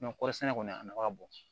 kɔɔri sɛnɛ kɔni a nafa ka bon